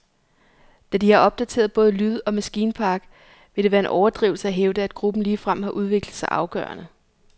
Da de har opdateret både lyd og maskinpark, vil det være en overdrivelse at hævde, at gruppen ligefrem har udviklet sig afgørende.